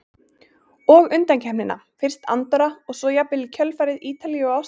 Og undankeppnina, fyrst Andorra og svo jafnvel í kjölfarið Ítalíu og Ástralía?